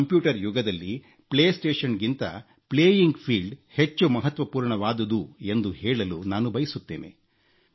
computer ಯುಗದಲ್ಲಿ ಪ್ಲೇಸ್ಟೇಶನ್ಗಿಂತ ಆಟವಾಡುವ ಬಯಲು ಪ್ಲೇಯಿಂಗ್ ಫೀಲ್ಡ್ ಹೆಚ್ಚು ಮಹತ್ವಪೂರ್ಣವಾದುದು ಎಂದು ಹೇಳಲು ನಾನು ಬಯಸುತ್ತೇನೆ